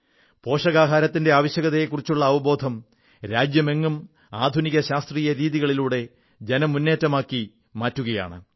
പോഷകാഹാരത്തിന്റെ ആവശ്യത്തെക്കുറിച്ചുള്ള അവബോധം രാജ്യമെങ്ങും ആധുനിക ശാസ്ത്രീയ രീതികളിലൂടെ ജനമുന്നേറ്റമാക്കി മാറ്റുകയാണ്